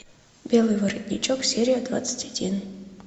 белый воротничок серия двадцать один